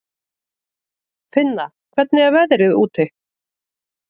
Finna, hvernig er veðrið úti?